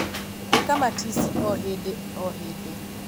ĩka matici o hĩndĩ o hĩndĩ